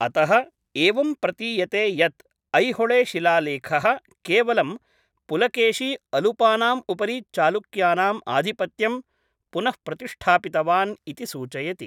अतः, एवं प्रतीयते यत् ऐहोले शिलालेखः केवलं पुलकेशी अलुपानाम् उपरि चालुक्यानाम् आधिपत्यं पुनःप्रतिष्ठापितवान् इति सूचयति।